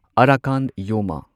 ꯑꯔꯥꯀꯥꯟ ꯌꯣꯃꯥ